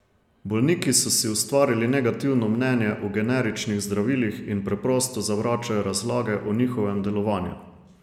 Bolniki so si ustvarili negativno mnenje o generičnih zdravilih in preprosto zavračajo razlage o njihovem delovanju.